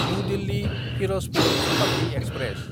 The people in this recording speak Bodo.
new दिल्ली–फिरजपुर Shatabdi express